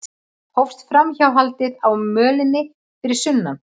Hófst framhjáhaldið á mölinni fyrir sunnan